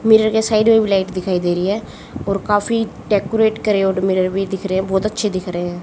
Mirror के side में भी लाइट दिखाई दे रही है और काफी डेकोरेट करे मिरर भी दिख रहे है बहोत अच्छे दिख रहे हैं।